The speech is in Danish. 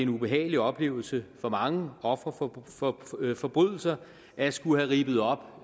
ubehagelig oplevelse for mange ofre for forbrydelser at skulle have rippet op